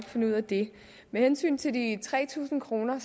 finde ud af det med hensyn til de tre tusind kroner